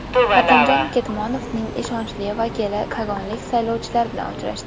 Xatamjon Ketmonovning ishonchli vakili kogonlik saylovchilar bilan uchrashdi.